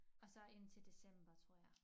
Og så indtil december tror jeg